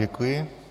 Děkuji.